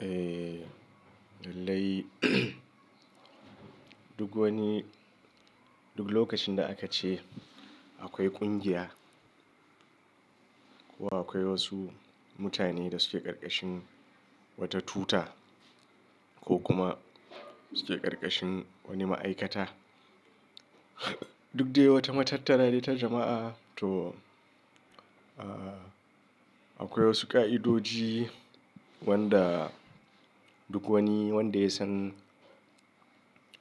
Eh lallai, duk wani duk lokacin da aka ce akwai ƙungiya ko akwai wasu mutane da suke karkashin wata tuta ko kuma suke karkashin wani ma'aikata. Duk dai wata matattara ne ta jama'a to akwai wasu ƙa'idoji wanda duk wani wanda ya san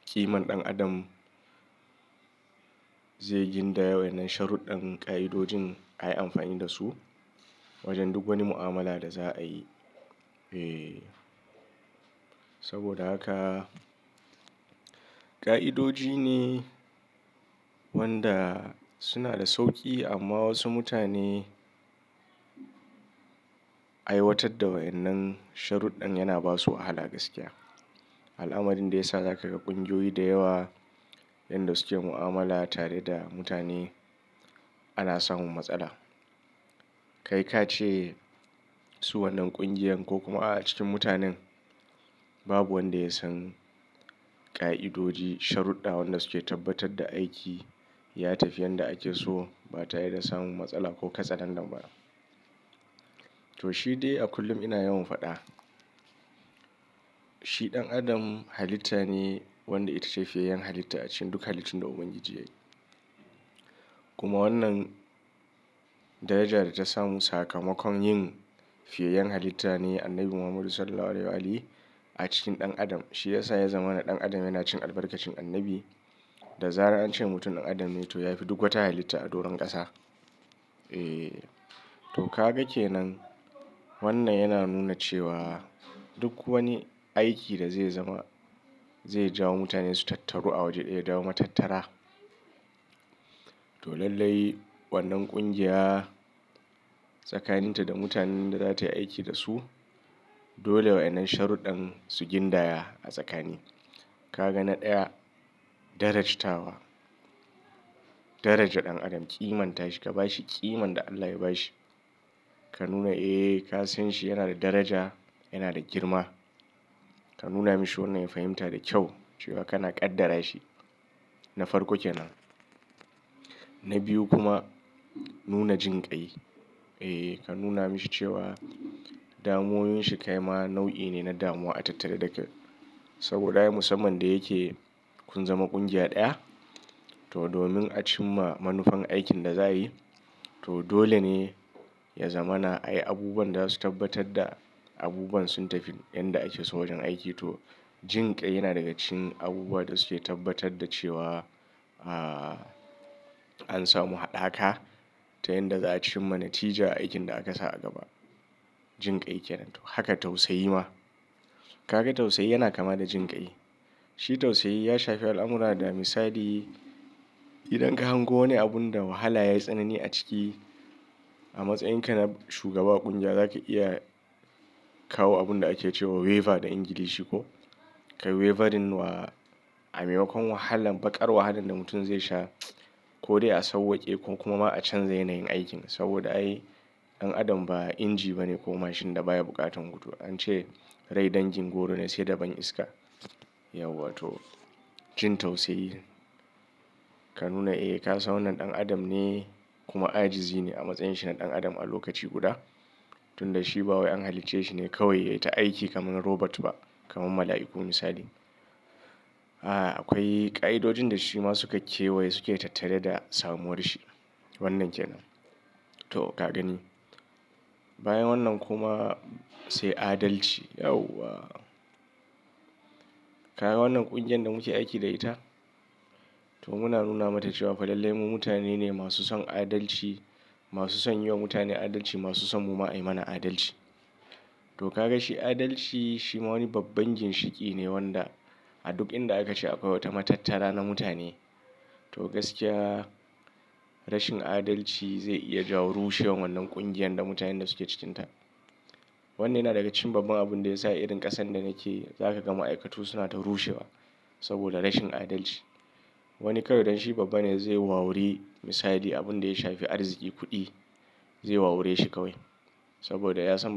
ƙiman ɗan adam zai gindaya wa'ennan sharuɗɗan ƙa'idojin ayi amfani da su wajen duk wani mu'amala da za a yi. Eh saboda haka ƙa'idoji ne wanda suna da sauƙi amma wasu mutane aiwatar da wa'ennan sharuɗɗan yana basu wahala gaskiya. Al'amarin da ya sa za ka ga ƙungiyoyi da yawa inda suke mu'amala tare da mutane ana samun matsala. Kai ka ce su wannan ƙungiyar ko kuma a cikin mutanen babu wanda ya san ƙa'idoji sharuɗɗa wanda suke tabbatar da aiki ya tafi yanda ake so ba tare da samun matsala ko katse landan ba. To shi dai a kullum ina yawan faɗa. Shi ɗan adam halitta ne wanda ita ce fiyayen halitta a cikin duk halittun da ubangiji yayi. Kuma wannan daraja da ta samu sakamakon yin fiyayen halitta ne Annabi Muhammadu sallallahu alaihi wa ali a cikin ɗan adam. Shi ya sa ya zama na ɗan adam yana cin albarkacin Annabi da zara'ance mutum ɗan adam ne to yafi duk wata halitta a doron ƙasa. Eh to ka gake nan wannan yana nuna cewa duk wani aiki da zai zama zai jawo mutane su tattaru a waje ɗaya da wata matattara. To lallai wannan ƙungiya tsakanin ta da mutanen da za ta yi aiki da su dole wa'ennan sharuɗɗan su gindaya a tsakani. Ka ga na ɗaya darajitawa. Daraja ɗan adam ƙiman ta shi ka ba shi ƙiman da Allah ya ba shi. Ka nuna eh ka san shi yana da daraja yana da girma. Ka nuna mashi wannan ya fahimta da kyau cewa kana ƙaddara shi. Na farko ke nan. Na biyu kuma nuna jinƙai. Eh ka nuna mashi cewa damuwan shi kai ma nau'i ne na damuwa a tattare da kai. Saboda ai musamman da yake kun zama ƙungiya ɗaya to domin a cimma manufan aikin da za a yi to dole ne ya zama na ai abubuwan da za su tabbatar da abubuwan sun tafi yanda ake so wajen aiki to jinƙai yana daga cikin abubuwan da suke tabbatar da cewa ah an samu haɗaka ta yanda za a cimma natija a aikin da aka sa a gaba. Jinƙai ke nan haka tausayi ma. Kaga tausayi yana kama da jinƙai. Shi tausayi ya shafi alamura da misali idan ka hango wani abun da wahala ya yi tsanani a ciki a matsayin ka na shugaba a ƙungiya za ka iya kawo abun da ake cewa waiver da Ingilishi ko. Kai waiverin wa a maimakon wahalan baƙar wahalar da mutum zai sha ko dai a sauwake ko kuma ma a canza yanayin aikin. Saboda ai ɗan adam ba inji bane ko mashin da baya buƙatar hutu. An ce rai dangin goro ne sai da ban iska. Yauwa to jin tausayi. Ka nuna eh ka san wannan ɗan adam ne kuma ajizi ne a matsayin shi na ɗan adam a lokaci guda. Tun da shi ba wai an halicce shi ne kawai ya yi ta aiki kamar robot ba kamar mala'iku misali. Ah akwai ƙa'idojin da shi ma su kake waye suke tattare da samuwarsa. Wannan ke nan. To ka gani. Bayan wannan kuma sai adalci. Yauwa. Ka ga wannan ƙungiyar da muke aiki da ita to muna nuna mata cewa fa lallai mu mutane ne masu son adalci, masu son yi wa mutane adalci, masu son mu ma ayi mana adalci. To ka ga shi adalci shi ma wani babban ginshiki ne wanda a duk inda aka ci akwai wata matattara na mutane. To gaskiya rashin adalci zai iya jawo rushewar wannan ƙungiyar da mutanen da suke cikinta. Wannan yana daga cikin babban abun da ya sa irin ƙasan da nake za ka ga ma'aikatu suna ta rushewa saboda rashin adalci. Wani kawai dan shi babba ne zai wawuri misali abun da ya shafi arziki kuɗi zai wawure shi kawai saboda ya samu.